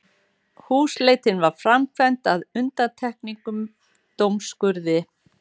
Húsleitin var framkvæmd að undangengnum dómsúrskurði